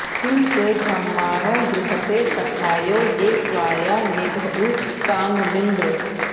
किं ते॑ ब्र॒ह्माणो॑ गृहते॒ सखा॑यो॒ ये त्वा॒या नि॑द॒धुः काम॑मिन्द्र